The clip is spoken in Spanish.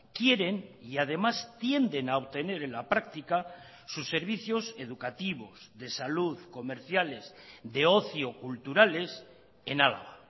quieren y además tienden a obtener en la práctica sus servicios educativos de salud comerciales de ocio culturales en álava